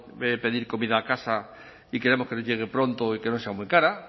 pedir comida a casa y queremos que nos llegue pronto y que no sea muy cara